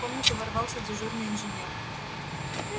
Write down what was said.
в комнату ворвался дежурный инженер